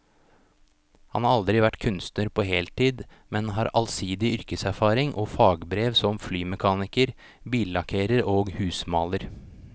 Han har aldri vært kunstner på heltid, men har allsidig yrkeserfaring og fagbrev som flymekaniker, billakkerer og husmaler.